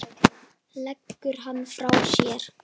Leggur hann frá sér.